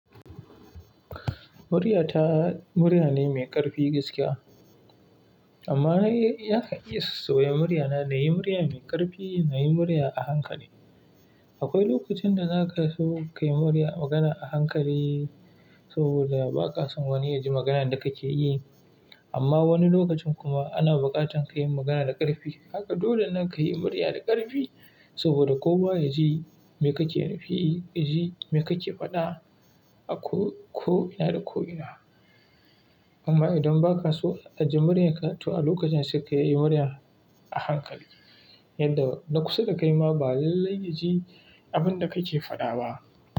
Muryata murya ne mai ƙarfi gaskiya. Amma yana iya sauya muryana, na yi murya mai ƙarfi, na yi murya a hankali. Akwai lokacin da zaka so kayi murya magana a hankali saboda ba ka son wani ya ji maganan da kake yi. Amma wani lokacin kuma ana buƙatar kayin magana da ƙarfi. Haka dole ne ka yi murya da ƙarfi saboda kowa ya ji me kake nufi, ya ji me kake faɗa ko ina da ko ina. Amma idan ba ka so a ji muryarka, to a lokacin sai ka yi murya a hankali yadda na kusa da kai ma ba lallai ya ji abin da kake faɗa ba.